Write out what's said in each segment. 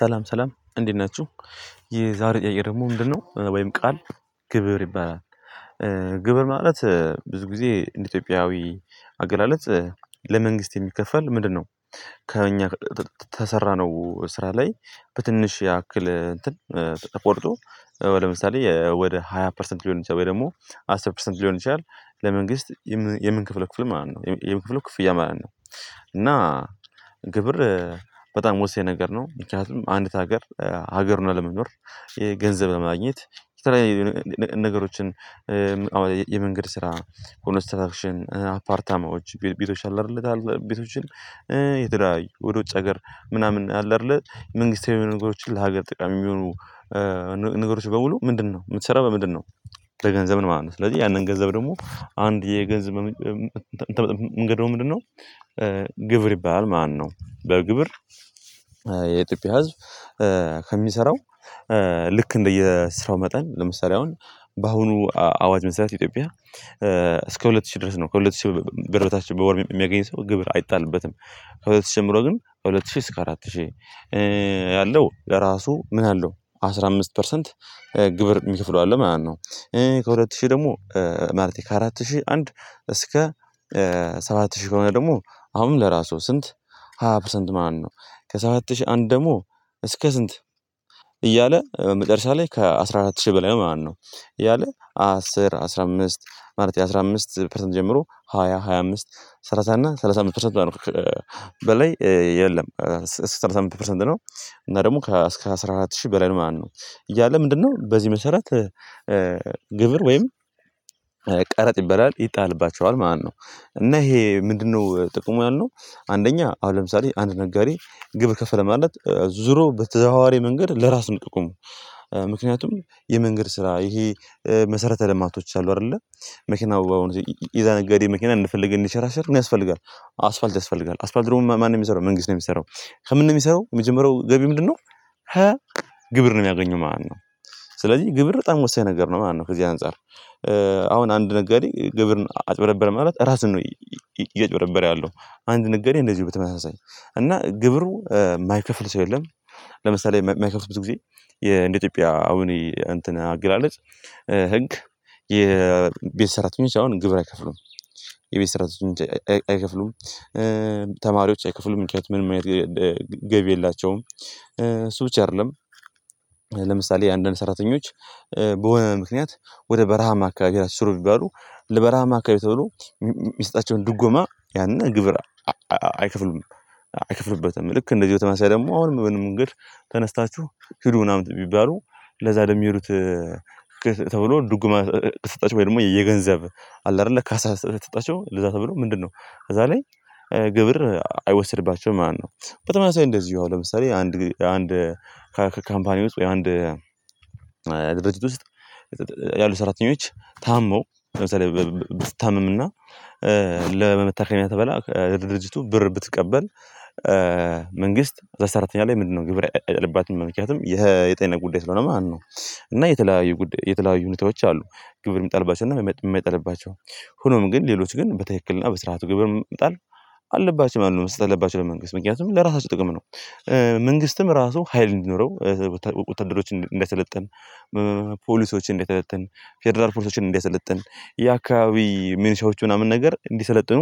ሰላም ሰላም እንዴት ናችሁ። የዛሬ ጥያቄ ደግሞ ምንድን ነው ወይም ቃል ግብር ይባላል? ግብር ማለት ብዙ ጊዜ እንደ ኢትዮጵያዊ አገላለጽ ለመንግስት የሚከፈል ምንድን ነው? ከእኛ ከከሰራነው ስራ ላይ በትንሽ ያክል እንትን ተቆርጦ ለምሳሌ ወደ ሃያ ፐርሰንት ሊሆን ይችላል ወይ ደግሞ አስር ፐርሰንት ሊሆን ይችላል። ለመንግስት የምን የምንከፍለው ክፍል ማለት ነው የምን ከፍለው ክፍያ ማለት ነው። እና ግብር በጣም ወሳኝ ነገር ነው። ምክንያቱም አንዲት ሀገር ሀገር ሁና ለመኖር የገንዘብ ለማግኘት ከተለያዩ ነ ነገሮችን አሁን የመንገድ ስራ ኮንስትራክሽን አፓርታማዎች ቤቶች አሉ። አይደለ ቤቶችን የተለያዩ ወደ ውጭ ሀገር ምናምን አለ አይደለ መንግስታዊ የሆኑ ነገሮችን ለሀገር ጠቃሚ የሚሆኑ ነገሮች በሙሉ ምንድን ነው የምትሰራው በምንድን ነው? ለገንዘብ ማለት ነው ስለዚህ ያንን ገንዘብ ደግሞ አንድ የገንዘብ ማመንጫ የም የምታመጣበት መንገድ ነው ምንድን ነው ግብር ይባላል ማለትነው። በግብር የኢትዮጵያ ህዝብ ከሚሰራው ልክ እንደየ ስራው መጠን ለምሳሌ አሁን በአሁኑ አዋጅ መሰረት ኢትዮጵያ እስከ ሁለት ሺህ ድረስ ነው ከሁለት ሺህ ብር በታች በወር የሚያገኝ ሰው ግብር አይጣልበትም። ከሁለት ሺህ ጀምሮ ግን ሁለት ሺህ እስከ አራት ሺህ ያለው ለራሱ ምን አለው አስራ አምስት ፐርሰንት ግብር የሚከፍለው አለ ማለት ነው። ከሁለት ሺህ ደግሞ ማለቴ ከአራት ሺህ አንድ እስከ ሰባት ሺህ ከሆነ ደግሞ አሁንም ለራሱ ስንት ሃያ ፐርሰንት ማለት ነው። ከሰባት ሺህ አንድ ደግሞ እስከ ስንት እያለ በመጨረሻ ላይ ከአስራ አራት ሺህ በላይ ነው ማለትነው። እያለ አስር አስራ አምስት ማለቴ አስራ አምስት ፐርሰንት ጀምሮ ሃያ ሃያ አምስት ሰላሳ እና ሰላሳ አምስት ፐርሰንት ነው በላይ የለም። ሰላሳ አምስት ፐርሰንት ነው። እና ደግሞ ከአስራ አራት ሺህ ብለን ማለትነው እያለ ምንድንነው በዚህ መሰረት? ግብር ወይም ቀረጥ ይባላል ይጣልባቸዋል። ማነው እና ይሄ ምንድንነው ጥቅሙ ያልነው? አንደኛ አሁን ለምሳሌ አንድ ነጋዴ ግብር ከፈለ ማለት ዙሮ በተዘዋዋሪ መንገድ ለራስ ነው ጥቅሙ። ምክንያቱም የመንገድ ስራ ይሄ መሰረተ ልማቶች አሉ አይደለ መኪና በአሁኑ ጊዜ የዛ ነገዴ መኪና እንደፈለገ እንዲንሽራሸር ምን ያስፈልጋል አስፋልት ያስፈልጋል አስፋልት ደግሞ ማን ነው የሚሰራው መንግስት ነው። የሚሰራው ከምን ነው የሚሰራው የመጀመሪያው ገቢ ምንድንነው? ከ ግብር ነው የሚያገኘው ማለት ነው። ስለዚህ ግብር በጣም ወሳኝ ነገር ነው ማለት ነው ከዚህ አንፃር አሁን አንድ ነጋዴ ግብርን አጭበረበረ ማለት ራስን ነው። እያጭበረበረ ያለው አንድ ነጋዴ እንደዚሁ በተመሳሳይ እና ግብር የማይከፍል ሰው የለም። ለምሳሌ የማ የማይከፍል ብዙ ጊዜ የእንደ ኢትዮጵያ አሁን እንትን አገላለጽ ህግ የቤት ሰራተኞች አሁን ግብር አይከፍሉም። የቤት ሰራተኞች አይ አይከፍሉም። ተማሪዎች አይከፍሉም ምክንያቱም ምንም አይነት ገገቢ የላቸውም እሱ ብቻ አይደለም። ለምሳሌ አንዳንድ ሰራተኞች በሆነ ምክንያት ወደ በረሃማ አካባቢ ራሱ ስሩ ቢባሉ ለበረሃማ አካባቢ ተብሎ የሚ የሚሰጣቸውን ድጎማ ያንን ግብር አአአ አይከፍሉም። አይክፍሉበትም ልክ እንደዚሁ በተመሳሳይ ደግሞ አሁንም በሆነ መንገድ ተነስታችሁ ሂዱ ምናምን ቢባሉ ለዛ ለሚሄ ዱት ተብሎ ድጎማ ከተሰጠቸው ወይ ደግሞ የየገንዘብ አለ አይደለ ካሳ ከተሰጣቸው ለዛ ተብሎ ምንድ ንነው ከዛ ላይ ግብር አይወስድባቸውም ማለትነው። በተመሳሳይ እንደዚሁ አሁንለምሳሌ አንድ አንድ ከካምፓኒው ውስጥ ወይ አንድ ድርጅት ውስጥ ያሉ ሰራተኞች ታመው ለምሳሌ ብትታመምና ለመታከሚያ ተብላ ከድርጅቱ ብር ብትቀበል መንግስት እዛ ሰራተኛ ላይ ምንድንነው ግብር አይጥልባትም ነው ምክንያቱም ይሄ የጤና ጉዳይ ስለሆነ ማለት ነው። እና የተለያዩ የተለያዩ ሁኔታዎች አሉ ግብር የሚጣልባቸውና የማ የማይጣልባቸው ሆኖም ግን ሌሎች ግን በትክክልና በስርዓቱ ግብር መጣል አለባቸው ማለት ነው መስጠት አለባቸው ለመንግስት ምክንያቱም ለራሳቸው ጥቅም ነው። መንግስትም ራሱ ሀይል እንዲኖረው ወታ ወታደሮችን እንዲያሰለጥን እንዲያሰለጥን ፌደራል ፖሊሶችን እንዲያሰለጥን የአካባቢ ሚኒሻዎች ምናምን ነገር እንዲሰለጥኑ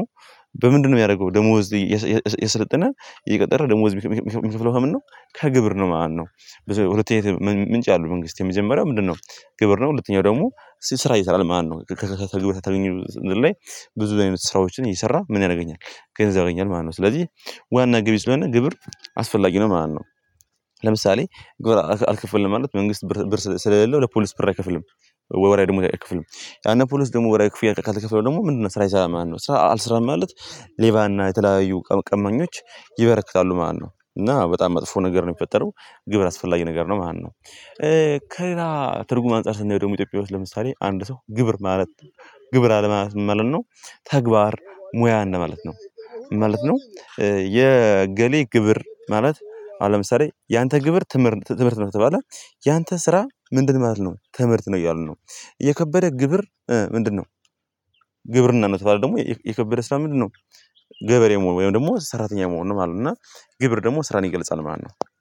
በምንድን ነው የሚያደርገው ደሞወዝ እየሰ እየሰለጠነ እየቀጠረ ደመወዝ የሚከ የሚከፍለው ከምን ነው ከግብር ነው ማለት ነው። ሁለት አይነት ምምንጭ አለው መንግስት የመጀመሪያው ምንድነው? ግብር ነው ሁለተኛው ደግሞ እሱ ስራ ይሰራል ማለት ነው ከከ ግብር ከተገኘ ላይ ብዙ አይነት ስራዎችን እየሰራ ምን ያገኛል ገንዘብ ያገኛል ማለት ነው ስለዚህ ዋና ገቢ ስለሆነ ግብር አስፈላጊ ነው ማለት ነው። ለምሳሌ ግብር አል አልከፈልም ማለት መንግስት ብር ብር ስለሌለው ለፖሊስ ብር አይከፍልም። ወርሃዊ ደመወዝ አይከፍልም ያነ ፖሊስ ደግሞ ወርሃዊ ክፍያ ካልተከፈለው ደግሞ ምንድንነው ስራ አይሰራም ማለት ነው። ስራ አልስራም ማለት ሌባና የተለያዩ ቀቀመኞች ይበረክታሉ ማለት ነው። እና በጣም መጥፎ ነገር ነው የሚፈጠረው ግብር አስፈላጊ ነገር ነው ማለት ነው። ከሌላ ትርጉም አንፃር ስናየው ደግሞ ኢትዮጵያ ውስጥ ለምሳሌ አንድ ሰው ግብር ማለት ግብር አለ አለማለት ምን ማለት ነው? ተግባር ሙያ እንደ ማለት ነው ማለት ነው። የእገሌ ግብር ማለት አሁንለምሳሌ ያንተ ግብር ትምህርት ትምህርት ነው ከተባለ ያንተ ስራ ምንድን ማለት ነው ትምህርት ነው እያሉ ነው። የከበደ ግብር ምንድነው? ግብርና ነው የተባለ ደግሞ የከበደ ስራ ምንድነው? ገበሬ መሆን ወይም ደግሞ ሰራተኛ መሆን ነው ማለት ነው። እና ግብር ደግሞ ስራን ይገልጻል ማለት ነው።